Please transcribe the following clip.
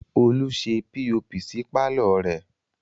Olú ṣe POP sí pàlọ́ rẹ̀